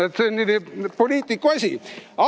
Eks see poliitiku asi ole.